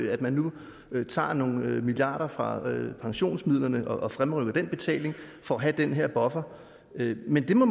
at man nu tager nogle milliarder kroner fra pensionsmidlerne og fremrykker den betaling for at have den her buffer men det må